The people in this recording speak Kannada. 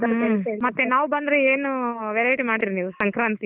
ಹ್ಮ್ ಮತ್ತೆ ನಾವು ಬಂದ್ರೆ ಏನೂ verity ಮಾಡ್ತಿರಿ ನೀವು ಸಂಕ್ರಾಂತಿಗ್.